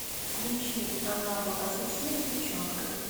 включи она была совсем девчонкой